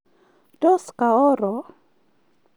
Tos, kaooro?